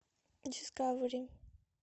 дискавери